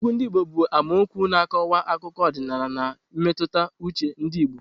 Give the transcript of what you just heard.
Egwu ndị Igbo bụ n'amaokwu na-akọwa akụkọ ọdịnala na mmetụta uche ndị Igbo.